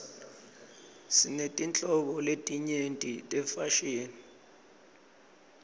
sinetinhlobo letinyenti tefashini